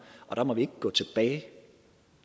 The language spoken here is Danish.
og der må vi ikke gå tilbage